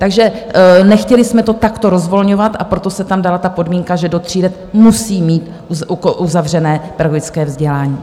Takže nechtěli jsme to takto rozvolňovat, a proto se tam dala ta podmínka, že do tří let musí mít uzavřené pedagogické vzdělání.